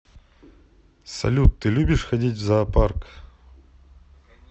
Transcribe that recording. салют ты любишь ходить в зоопарк